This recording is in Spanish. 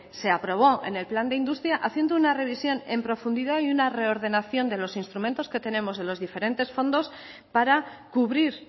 se aprobó en el plan de industria haciendo una revisión en profundidad y una reordenación de los instrumentos que tenemos de los diferentes fondos para cubrir